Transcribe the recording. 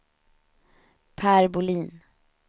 Per Bolin